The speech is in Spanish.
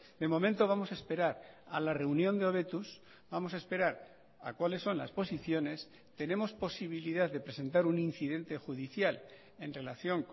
de momento vamos a esperar a la reunión de hobetuz vamos a esperar a cuáles son las posiciones tenemos posibilidad de presentar un incidente judicial en relación